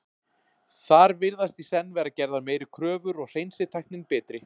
þar virðast í senn vera gerðar meiri kröfur og hreinsitæknin betri